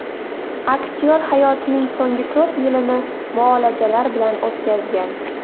Aktyor hayotining so‘nggi to‘rt yilini muolajalar olib o‘tkazgan.